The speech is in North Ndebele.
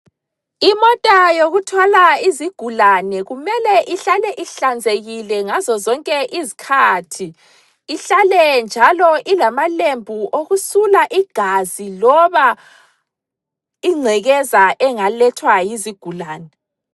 Imota yokuthwala izigulane kumele ihlale ihlanzekile ngazozonke izikhathi. Ihlale njalo ilamalembu okusula igazi loba ingcekeza engalethwa yizigulane.